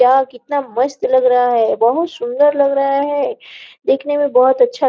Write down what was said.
यार कितना मस्त लग रहा है बहुत सुंदर लग रहा है देखने में बहुत अच्छा --